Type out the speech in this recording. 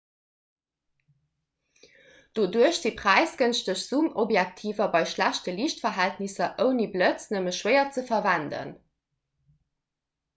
doduerch si präisgënschteg zoomobjektiver bei schlechte liichtverhältnisser ouni blëtz nëmme schwéier ze verwenden